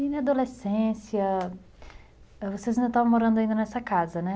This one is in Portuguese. E na adolescência, vocês ainda estavam morando nessa casa, né?